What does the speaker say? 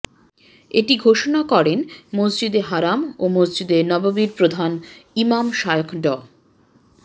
এটি ঘোষণা করেন মসজিদে হারাম ও মসজিদে নববির প্রধান ইমাম শায়খ ড